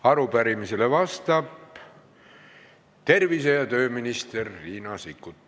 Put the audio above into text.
Arupärimisele vastab tervise- ja tööminister Riina Sikkut.